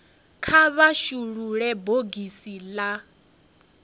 kha vha shulule bogisi la